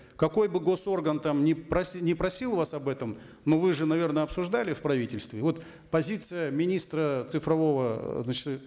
какой бы гос орган там ни ни просил вас об этом ну вы же наверно обсуждали в правительстве вот позиция министра цифрового значит